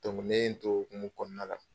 Dɔnku o hukumu kɔnɔna la.